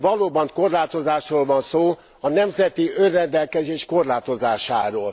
Valóban korlátozásról van szó, a nemzeti önrendelkezés korlátozásáról.